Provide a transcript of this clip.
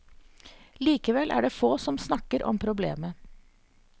Likevel er det få som snakker om problemet.